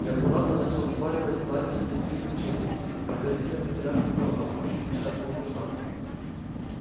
и аккуратно начал вспарывать платье лезвием мачете предварительно вытерав его о брючину несчастного курсанта